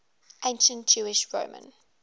ancient jewish roman